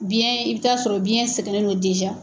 Biyɛn, i bɛ taa sɔrɔ biyɛn sɛgɛnnen don .